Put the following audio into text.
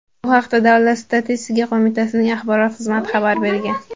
Bu haqda Davlat statistika qo‘mitasining axborot xizmati xabar bergan .